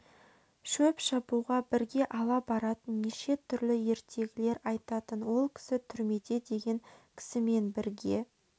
шөп шабуға бірге ала баратын неше түрлі ертегілер айтатын ол кісі түрмеде деген кісімен бірге